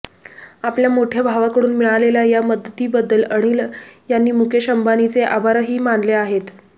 आपल्या मोठ्या भावाकडून मिळालेल्या या मदतीबद्दल अनिल यांनी मुकेश अंबानींचे आभारही मानले आहेत